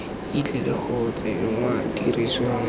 e tlile go tsenngwa tirisong